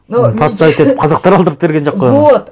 подставить етіп қазақтар алдырып берген жоқ қой оны вот